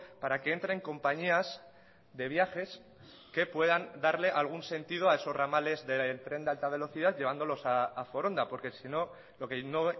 para que entren compañías de viajes que puedan darle algún sentido a esos ramales del tren de alta velocidad llevándolos a foronda porque sino lo que no